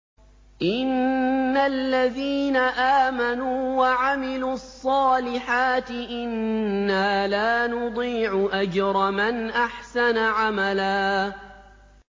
إِنَّ الَّذِينَ آمَنُوا وَعَمِلُوا الصَّالِحَاتِ إِنَّا لَا نُضِيعُ أَجْرَ مَنْ أَحْسَنَ عَمَلًا